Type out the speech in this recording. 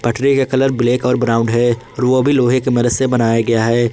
Tree का colour black और brown है और ओ भी लोहे के मदद से बनाया गया है।